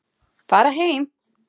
Fara heim!